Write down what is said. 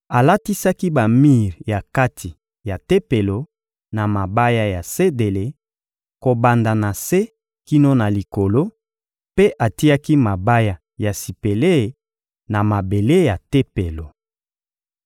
Alatisaki bamir ya kati ya Tempelo na mabaya ya sedele, kobanda na se kino na likolo, mpe atiaki mabaya ya sipele na mabele ya Tempelo.